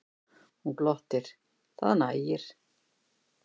Hún glottir, það nægir.